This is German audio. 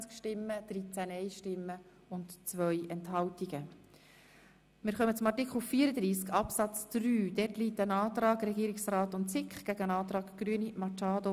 Zu diesem Artikel liegen ein Antrag von Regierungsrat und SiK sowie ein Antrag Grüne vor.